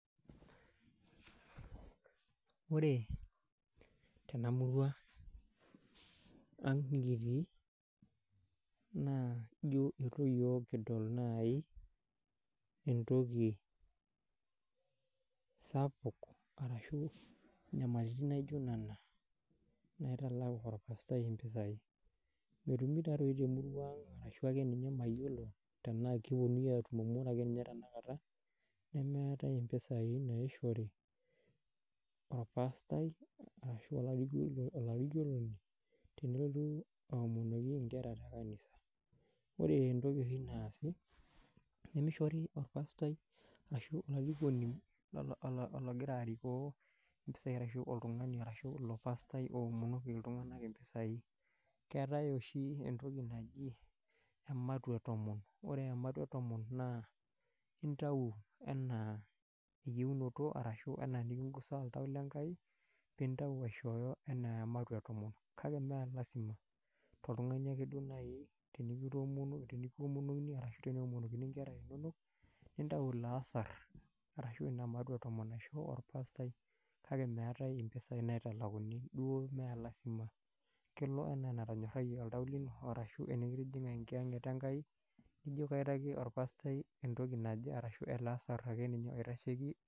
Ore tena murua ang nikitii naa ijo itu iyiok kidol naaji etoki sapuk ashu, nyamalaritin naijo nena naitalaku irmasaae impisai. Metumii taadi te morua ang ashu ake ninye mayiolo tenaa keponunui atum kake ore ake ninye tena kata nemeetae impisai naishori orpastai ashu olalikioroni tenelotu aomonoki inkera tekanisa. Ore etoki oshi naasi nimishori irpastai ashu ologira arikoo impisai arashu oltungani oomonoki iltunganak impisai. Keetae oshi etoki naji ematua etomon ore ematua etomon naa itau me aa eyionoto ashu enaa enikigusa oltau le nkai piitau aishooyo enaa ematua etomon kake mee lasima toltungani ake naaji likitomonoko ashu teneomonokini inkera inonok nitayu ilo asar arashu ina matua etomon arashu orpastai kake meetae impisai naitalakuni duo telazima kelo enaa enatonyorayie oltau lino arashu enikitikinga enkiyaget enkai nijo kaitaki orpastai ele asar arashu etoki ake ninye naitasheiki.